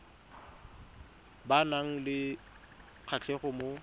ba nang le kgatlhego mo